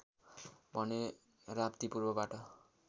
भने राप्ती पूर्वबाट